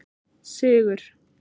Sigur